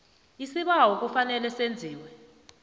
isibawo kufanele senziwe